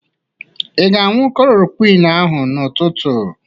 Ị ga-añụ klorokwin ahụ n'ụtụtụ?